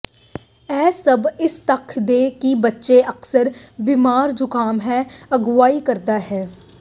ਇਹ ਸਭ ਇਸ ਤੱਥ ਦੇ ਕਿ ਬੱਚੇ ਅਕਸਰ ਬਿਮਾਰ ਜ਼ੁਕਾਮ ਹੈ ਅਗਵਾਈ ਕਰਦਾ ਹੈ